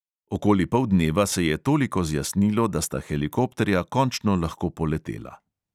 Okoli poldneva se je toliko zjasnilo, da sta helikopterja končno lahko poletela.